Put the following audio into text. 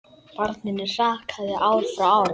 Barninu hrakaði ár frá ári.